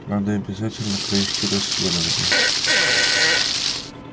надо обязательно провести расследование